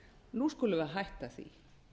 nú skulum við hætta því